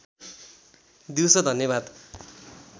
दिउँसो धन्यवाद